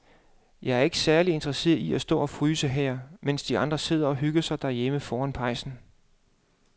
Jeg er ikke særlig interesseret i at stå og fryse her, mens de andre sidder og hygger sig derhjemme foran pejsen.